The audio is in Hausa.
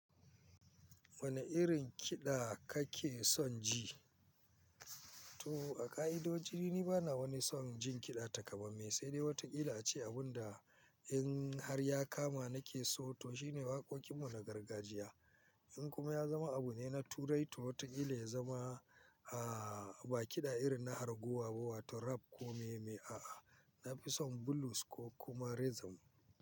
Wane irin kiɗa kake son ji? To a ka'idoji, ni bana wani son jin kiɗa takamaime, sai dai wataƙila ce abun da in har ya kama nake so to shine waƙoƙin mu na gargajiya. In kuma ya zama abu ne na turai to wataƙila ya zama, aah, ba kiɗa irin na arguwa ba, wato rap ko me me, a'a. Na fi son blues ko kuma rhythm.